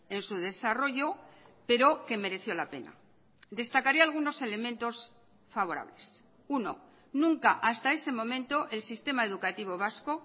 en su desarrollo pero que mereció la pena destacaré algunos elementos favorables uno nunca hasta ese momento el sistema educativo vasco